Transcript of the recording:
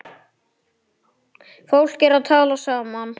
Fólk er að tala saman.